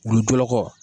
Wulu jɔyɔrɔ